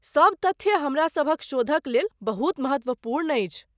सब तथ्य हमरा सभक शोधक लेल बहुत महत्वपूर्ण अछि।